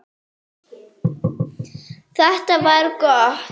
Þetta var gott.